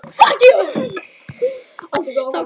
SKÚLI: Varla súrari en áður.